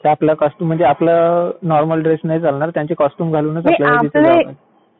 तर आपल्याला कॉस्च्युम म्हणजे आपल्या नॉर्मल ड्रेस नाही चालणार त्यांचे कॉस्च्युम घालून.